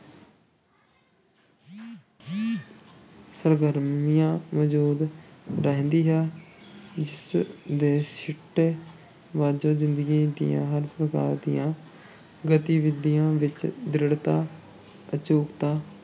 ਸਰਗਰਮੀਆਂ ਮੌਜੂਦ ਰਹਿੰਦੀ ਹੈ, ਜਿਸ ਦੇ ਸਿੱਟੇ ਵਜੋਂ ਜ਼ਿੰਦਗੀ ਦੀਆਂ ਹਰ ਪ੍ਰਕਾਰ ਦੀਆਂ ਗਤੀਵਿਧੀਆਂ ਵਿੱਚ ਦ੍ਰਿੜਤਾ, ਅਚੂਕਤਾ